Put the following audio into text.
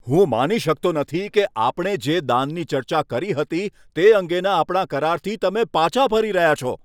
હું માની શકતો નથી કે આપણે જે દાનની ચર્ચા કરી હતી તે અંગેના આપણા કરાર પર તમે પાછા જઈ રહ્યા છો.